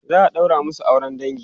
za'a ɗaura masu auran dangi